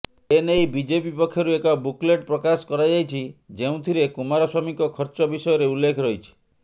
ଏ ନେଇ ବିଜେପି ପକ୍ଷରୁ ଏକ ବୁକ୍ଲେଟ ପ୍ରକାଶ କରାଯାଇଛି ଯେଉଁଥିରେ କୁମାରସ୍ବାମୀଙ୍କ ଖର୍ଚ୍ଚ ବିଷୟରେ ଉଲ୍ଲେଖ ରହିଛି